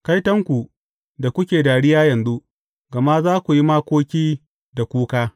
Kaitonku da kuke dariya yanzu, gama za ku yi makoki da kuka.